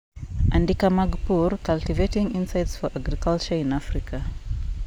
andika mag pur; Cultivating Insights for Agriculture in Africa